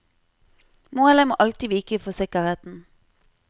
Målet må alltid vike for sikkerheten.